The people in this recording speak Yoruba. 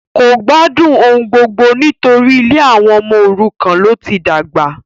kò gbádùn ohungbogbo nítorí ilé àwọn ọmọ òrukàn ló ti dàgbà